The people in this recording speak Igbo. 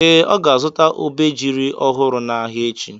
Ee, ọ ga-azụta obejiri ọhụrụ n'ahịa echi.